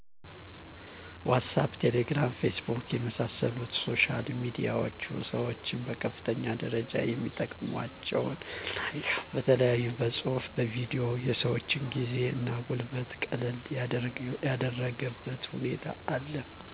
ዋሳፕ :ቴሌግራም :ፌስቡክ የመሣሰሉት ሶሻል ሚዲያዎች ሠወች በከፍተኛ ደረጃ የሚጠቀሟቸው ናቸው በተለያዮ በፅሁፉ በቪዲዮ የሰወችን ጊዜ እና ጉልበት ቀለል ያደረገበት ሁኔታ አለ